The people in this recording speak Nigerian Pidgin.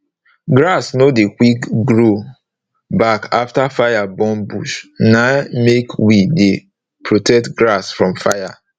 grass nor dey quick grow back afta fire burn bush na make we dey protect grass from fire